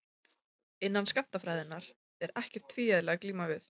Innan skammtafræðinnar er ekkert tvíeðli að glíma við.